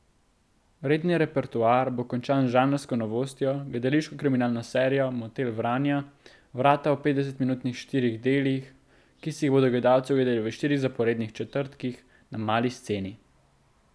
Redni repertoar bo končan z žanrsko novostjo, gledališko kriminalno serijo Motel Vranja vrata v petdesetminutnih štirih delih, ki si jih bodo gledalci ogledali v štirih zaporednih četrtkih na Mali sceni.